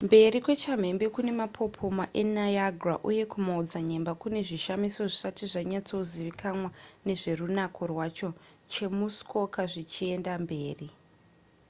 mberi kwechamhembe kune mapopoma eniagra uye kumaodzanyemba kune zvishamiso zvisati zvanyatsozivikanwa nezverunako rwacho chemuskoka zvichienda mberi